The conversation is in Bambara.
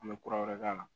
An bɛ kura wɛrɛ k'a la